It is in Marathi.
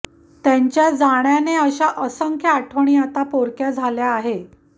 त्यांच्या जाण्याने अशा असंख्य आठवणी आता पोरक्या झाल्या आहे